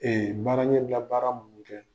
baara ɲɛbila baara mun be kɛ